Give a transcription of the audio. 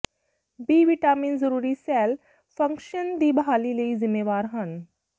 B vitamin ਜ਼ਰੂਰੀ cell function ਦੀ ਬਹਾਲੀ ਲਈ ਜ਼ਿੰਮੇਵਾਰ ਹਨ